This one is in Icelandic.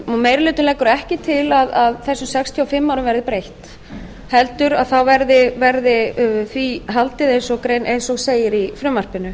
meiri hlutinn leggur ekki til að þessum sextíu og fimm árum verði breytt heldur verði því haldið eins og segir í frumvarpinu